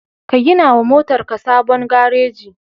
Ka gina wa motarka sabon gareji.